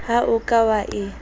ha o ka wa e